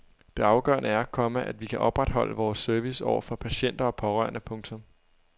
Det afgørende er, komma at vi kan opretholde vores service over for patienter og pårørende. punktum